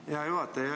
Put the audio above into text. Aitäh, hea juhataja!